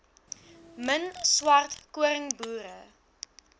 min swart koringboere